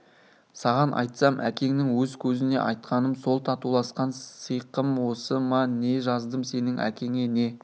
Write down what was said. саған айтсам әкеңнің өз көзіне айтқаным сол татуласқан сиқым осы ма не жаздым сенің әкеңе не